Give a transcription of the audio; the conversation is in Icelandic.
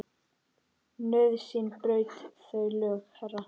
Nauðsyn braut þau lög, herra.